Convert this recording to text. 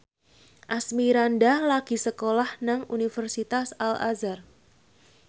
Asmirandah lagi sekolah nang Universitas Al Azhar